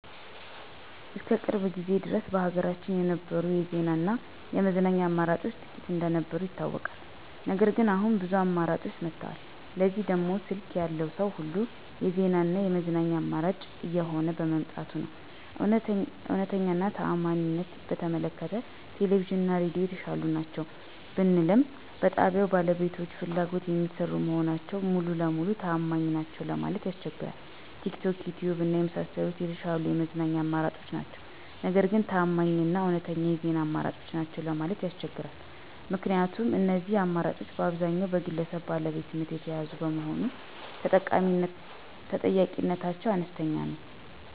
እስከ ቅርብ ጊዜ ድረስ በሀገራችን የነበሩት የዜና እና የመዝናኛ አማራጮች ጥቂት እንደነበሩ ይታወቃል። ነገር ግን አሁን ብዙ አማራጮች መጥተዋል። ለዚህም ደግሞ ስልክ ያለው ሰዉ ሁሉ የዜና እና የመዝናኛ አማራጭ እየሆነ በመምጣቱ ነዉ። እዉነተኛ እና ታማኝነትን በተመለከተ ቴሌቪዥን እና ሬዲዮ የተሻሉ ናቸው ብልም በጣብያዉ ባለቤቶች ፍላጎት የሚሰሩ መሆናቸው ሙሉ ለሙሉ ታማኝ ናቸዉ ለማለት ያስቸግራል። ቲክቶክ፣ ዪትዪብ እና የመሳሰሉት የተሻሉ የመዝናኛ አማራጮች ናቸው። ነገር ግን ታማኝ እና እዉነተኛ የዜና አማራጮች ናቸው ማለት ያስቸግራል። ምክንያቱም እነዚህ አማራጮች በአብዛኛዉ በግለሰብ ባለቤትነት የተያዙ በመሆኑ ተጠያቂነታቸው አነስተኛ ነዉ።